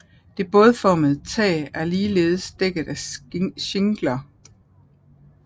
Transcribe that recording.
Det bådformede tag er ligeledes dækket af shingler